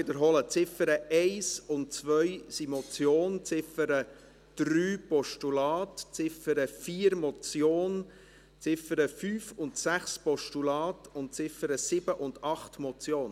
Die Ziffern 1 und 2 sind Motion, die Ziffer 3 ein Postulat, die Ziffer 4 Motion, die Ziffern 5 und 6 Postulat, die Ziffern 7 und 8 Motion.